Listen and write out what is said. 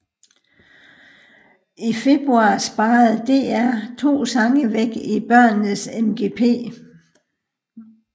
I februar sparede DR to sange væk i børnenes MGP